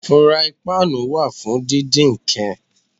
Furaipáànù wà fún díndín nǹkan.